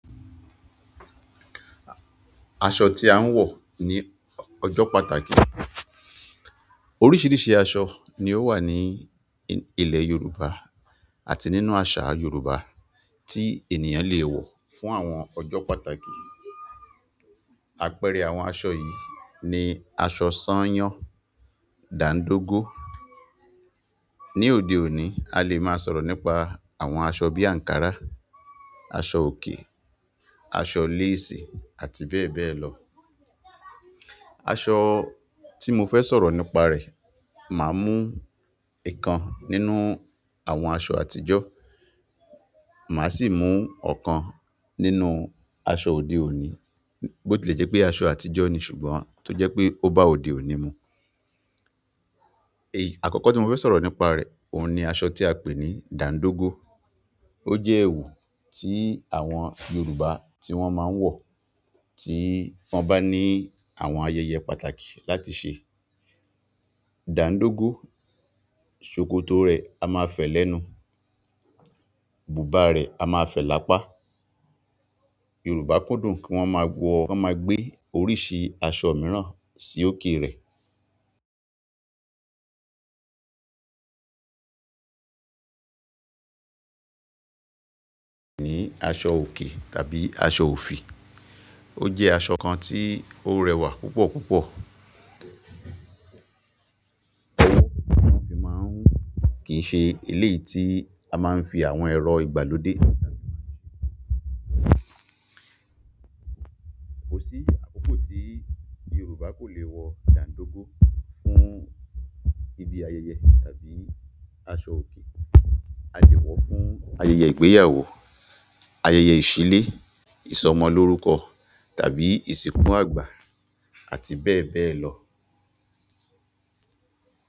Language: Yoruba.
Aṣọ tí a ń wọ̀ ní ọjọ́ pàtàkì. Oríṣiríṣi aṣọ ni ó wà ní ilẹ̀ Yorùbá àti nínú àṣà Yorùbá tí ènìyàn le wọ̀ fún àwọn ọjọ́ pàtàkì. Àpẹẹrẹ àwọn aṣọ yìí ni asọ sáńyán dàńdógó ni òde òní, a lè máa sọ̀rọ̀ nípa àwọn aṣọ bí àǹkárá, aṣọ òkè, aṣọ léèsì, àti bẹ́ẹ̀ bẹ́ẹ̀ lọ. Aṣọ tí mọfẹ́ sọ̀rọ̀ nípa rẹ̀ màá mú ìkan nínú àwọn aṣọ àtijọ́ màá sì mú ọ̀kan nínú aṣọ òde òní bó tilẹ̀ jẹ́ pé aṣọ àtijọ́ ni ṣùgbọ́n tó jẹ́ pé ó bá òde òní mu. Èyí àkọ́kọ́ tí mo fẹ́ sọ̀rọ̀ nípa rẹ̀, òun ni aṣọ tí a ń pè ní dàńdógó. Ó jẹ́ ẹ̀wù tí àwọn Yorùbá tí wọ́n máa ń wọ̀ tí wọ́n bá ní àwọn ayẹyẹ pàtàkì láti ṣe. Dàńdógó, ṣòkòtò rẹ̀ a máa fẹ̀ lẹ́nu, bùbá rẹ̀ a máa fẹ̀ lápá. Yorùbá kúndùn kí wọ́n máa wọ, wọ́n máa gbé oríṣi aṣọ mìíràn sí òkè rẹ̀. Ni aṣọ òkè tàbí aṣọ òfì. Ó jẹ́ aṣọ kan tí ó rẹwà púpọ̀ púpọ̀. Kì í ṣe eléyìí ti a máa ń fi àwọn ẹ̀rọ ìgbàlódé kò sí àkókò tí Yorùbá kò le wọ dàńdógó fún ibi ayẹyẹ tàbí aṣọ òkè. A lè wọ́ fún ayẹyẹ ìgbéyàwó, ayẹyẹ ìṣílé, ìsọmọlórúkọ tàbí ìsìnkú àgbà, àti bẹ́ẹ̀ bẹ́ẹ̀ lọ.